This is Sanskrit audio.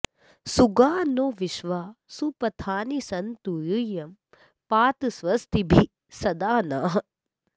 सु॒गा नो॒ विश्वा॑ सु॒पथा॑नि सन्तु यू॒यं पा॑त स्व॒स्तिभिः॒ सदा॑ नः